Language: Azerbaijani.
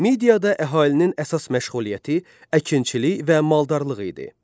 Midiyada əhalinin əsas məşğuliyyəti əkinçilik və maldarlıq idi.